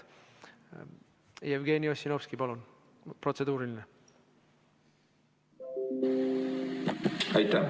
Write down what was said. Jevgeni Ossinovski, palun, protseduuriline!